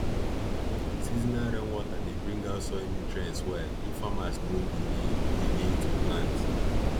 seasonal rainwater dey bring out soil nutrients well if farmers no delay delay to plant